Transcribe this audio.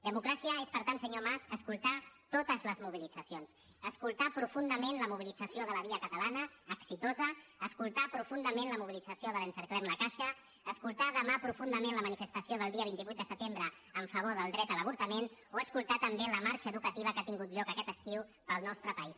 democràcia és per tant senyor mas escoltar totes les mobilitzacions escoltar profundament la mobilitza·ció de la via catalana exitosa escoltar profundament la mobilització de l’ encerclem la caixa escoltar profundament la manifestació del dia vint vuit de setem·bre en favor del dret a l’avortament o escoltar també la marxa educativa que ha tingut lloc aquest estiu pel nostre país